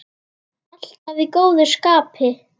Alltaf í góðu skapi.